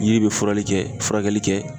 Yiri bɛ furali kɛ furakɛli kɛ.